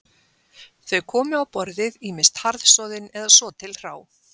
Þau komu á borðið ýmist harðsoðin eða svo til hrá